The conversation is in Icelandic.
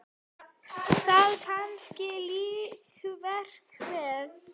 Það kannski lýsir verkinu vel.